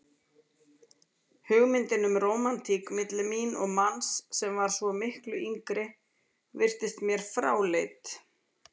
Hugmyndin um rómantík milli mín og manns sem var svo miklu yngri virtist mér fráleit.